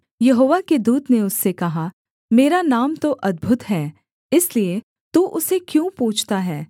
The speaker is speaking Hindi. यहोवा के दूत ने उससे कहा मेरा नाम तो अद्भुत है इसलिए तू उसे क्यों पूछता है